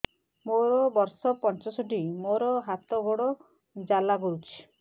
ମୋର ବର୍ଷ ପଞ୍ଚଷଠି ମୋର ହାତ ଗୋଡ଼ ଜାଲା କରୁଛି